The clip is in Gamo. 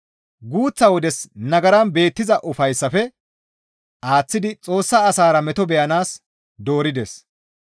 Guuththa wodes nagaran beettiza ufayssafe aaththidi Xoossa asaara meto beyanaas doorides.